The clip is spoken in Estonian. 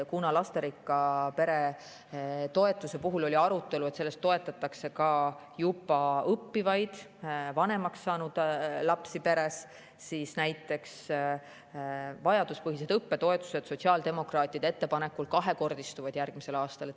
Kuna lasterikka pere toetuse puhul oli arutelu, kas toetatakse ka juba õppivaid, vanemaks saanud lapsi, siis näiteks vajaduspõhised õppetoetused sotsiaaldemokraatide ettepanekul järgmisel aastal kahekordistuvad.